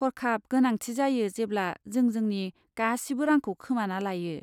हरखाब गोनांथि जायो जेब्ला जों जोंनि गासिबो रांखौ खोमाना लायो।